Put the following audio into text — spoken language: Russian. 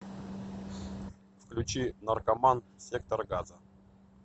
включи наркоман сектора газа